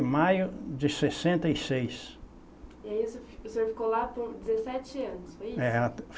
Maio de sessenta e seis. E aí o senhor fi o senhor ficou lá por dezessete anos, foi isso? É